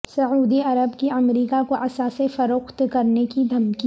سعودی عرب کی امریکہ کو اثاثے فروخت کرنے کی دھمکی